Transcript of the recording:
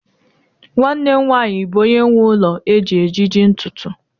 nwanne m nwanyi bu onye nwe ulo eji ejiji ntutu